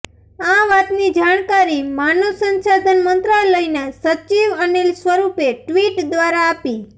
આ વાતની જાણકારી માનવ સંસાધન મંત્રાલયના સચિવ અનિલ સ્વરૂપે ટ્વીટ દ્વારા આપી